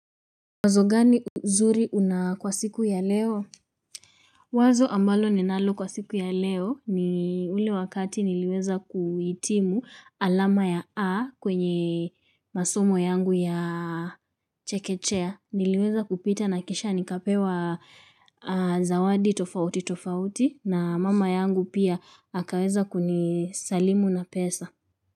Wazo gani nzuri una kwa siku ya leo? Wazo ambalo ninalo kwa siku ya leo ni ule wakati niliweza kuhitimu alama ya A kwenye masomo yangu ya chekechea niliweza kupita na kishanikapewa zawadi tofauti tofauti na mama yangu pia akaweza kunisalimu na pesa.